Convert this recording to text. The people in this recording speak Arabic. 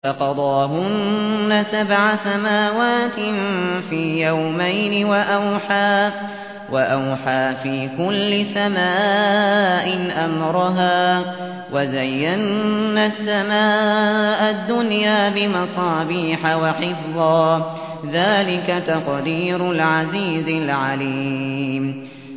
فَقَضَاهُنَّ سَبْعَ سَمَاوَاتٍ فِي يَوْمَيْنِ وَأَوْحَىٰ فِي كُلِّ سَمَاءٍ أَمْرَهَا ۚ وَزَيَّنَّا السَّمَاءَ الدُّنْيَا بِمَصَابِيحَ وَحِفْظًا ۚ ذَٰلِكَ تَقْدِيرُ الْعَزِيزِ الْعَلِيمِ